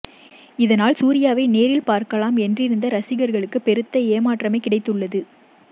இதனால் சூர்யாவை நேரில் பார்க்கலாம் என்றிருந்த ரசிகர்களுக்கு பெருத்த ஏமாற்றமே கிடைத்துள்ளது